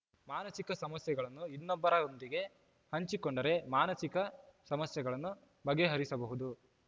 ಮಾನಸಿಕ ಸಮಸ್ಯೆಗಳನ್ನು ಇನ್ನೊಬ್ಬರೊಂದಿಗೆ ಹಂಚಿಕೊಂಡರೆ ಮಾನಸಿಕ ಸಮಸ್ಯೆಗಳನ್ನು ಬಗೆಹರಿಸಬಹುದು